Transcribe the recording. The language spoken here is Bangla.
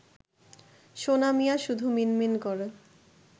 সোনা মিয়া শুধু মিনমিন করে